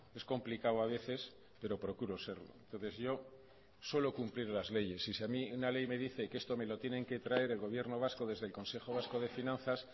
es complicado a veces pero procuro serlo entonces yo suelo cumplir las leyes y si a mí una ley me dice que esto me lo tienen que traer el gobierno vasco desde el consejo vasco de finanzas